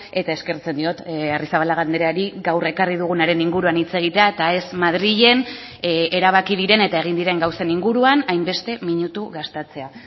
eta eskertzen diot arrizabalaga andreari gaur ekarri dugunaren inguruan hitz egitea eta ez madrilen erabaki diren eta egin diren gauzen inguruan hainbeste minutu gastatzea